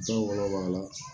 Dɔw wolo b'a la